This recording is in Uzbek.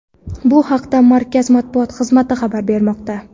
Bu haqda markaz matbuot xizmati xabar bermoqda .